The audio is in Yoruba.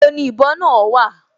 Níbo ni ìbọ náà wà?